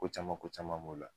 Ko caman ko caman b'o la